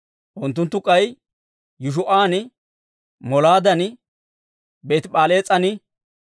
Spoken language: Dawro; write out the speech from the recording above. Unttunttu k'ay Yeshuu'an, Molaadan, Beeti-P'alees'an,